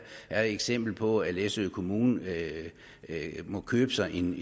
er et eksempel på at læsø kommune må købe sig en